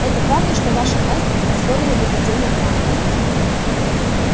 это правда что ваша казнь ускорила бы падение трантора